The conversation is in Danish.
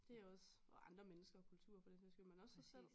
Det også og andre mennesker og kulturer for den sags skyld men også sig selv